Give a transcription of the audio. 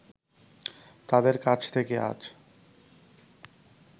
তাদের কাছ থেকে আজ